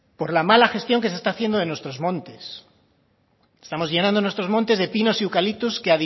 por la mala gestión que se está haciendo de nuestro montes estamos llenando nuestros montes de pinos y eucaliptos que